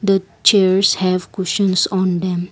the chairs have cuisines on them.